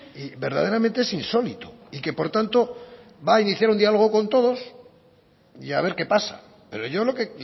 y verdaderamente es insólito y que por tanto va a iniciar un dialogo con todos y a ver qué pasa pero yo lo que